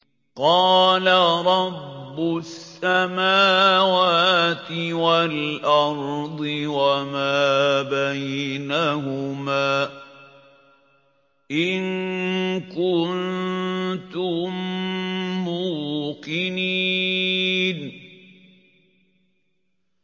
قَالَ رَبُّ السَّمَاوَاتِ وَالْأَرْضِ وَمَا بَيْنَهُمَا ۖ إِن كُنتُم مُّوقِنِينَ